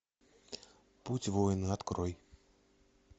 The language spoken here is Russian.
путь воина открой